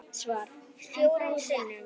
Svar: Fjórum sinnum